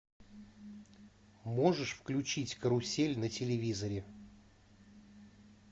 можешь включить карусель на телевизоре